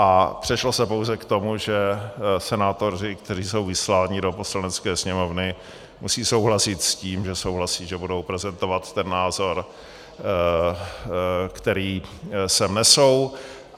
A přešlo se pouze k tomu, že senátoři, kteří jsou vysláni do Poslanecké sněmovny, musí souhlasit s tím, že souhlasí, že budou prezentovat ten názor, který sem nesou.